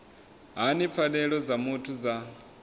hani pfanelo dza muthu dza